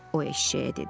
O eşşəyə dedi.